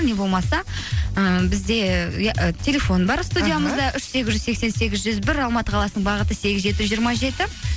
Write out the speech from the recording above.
не болмаса ыыы бізде телефон бар студиямызда үш сегіз жүз сексен сегіз жүз бір алматы қаласының бағыты сегіз жеті жүз жиырма жеті